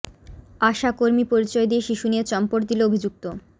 আশা কর্মী পরিচয় দিয়ে শিশু নিয়ে চম্পট দিল অভিযুক্ত